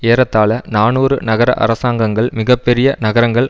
ஏறத்தாழ நாநூறு நகர அரசாங்கங்கள் மிக பெரிய நகரங்கள்